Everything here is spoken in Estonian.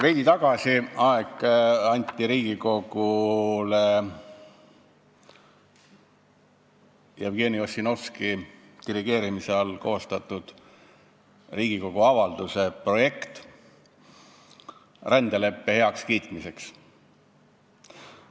Veidi aega tagasi anti Riigikogule üle Jevgeni Ossinovski dirigeerimise all koostatud Riigikogu avalduse projekt rändeleppe heakskiitmiseks.